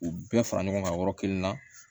U bɛɛ fara ɲɔgɔn kan yɔrɔ kelen na